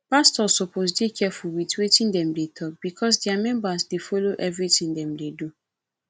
pastors suppose dey careful with wetin dem dey talk because dia members dey follow everything dem dey do